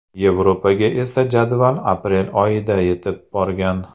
Yevropaga esa jadval aprel oyida yetib borgan.